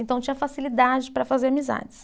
Então, tinha facilidade para fazer amizades.